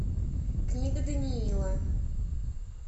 книга даниила